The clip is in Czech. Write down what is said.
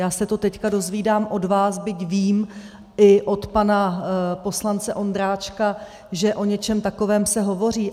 Já se to teď dozvídám od vás, byť vím i od pana poslance Ondráčka, že o něčem takovém se hovoří.